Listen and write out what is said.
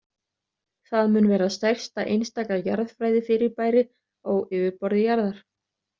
Það mun vera stærsta einstaka jarðfræðifyrirbæri á yfirborði jarðar.